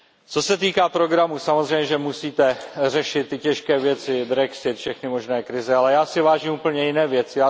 Co se týká programu, samozřejmě, že musíte řešit ty těžké věci, Brexit, všechny možné krize, ale já si vážím úplně jiné věci.